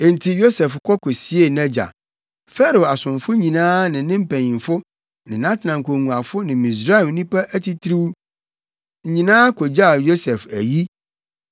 Enti Yosef kɔ kosiee nʼagya. Farao asomfo nyinaa ne ne mpanyimfo ne nʼatenankongua ne Misraim nnipa titiriw nyinaa kogyaa Yosef ayi